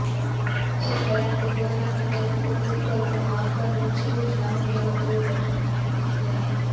शेतकऱ्यांचे दोन लाखापर्यंतचे कर्ज माफ करण्याची घोषणा मुख्यमंत्री उद्धव ठाकरे यांनी केली आहे